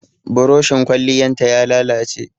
Burushin Kwalliyan ta ya lalace.